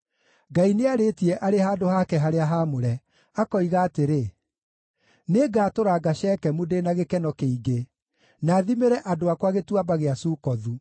Ngai nĩarĩtie arĩ handũ hake harĩa haamũre, akoiga atĩrĩ: “Nĩngatũranga Shekemu ndĩ na gĩkeno kĩingĩ, na thimĩre andũ akwa Gĩtuamba gĩa Sukothu.